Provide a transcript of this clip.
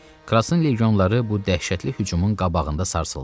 Krasın legionları bu dəhşətli hücumun qabağında sarsıldı.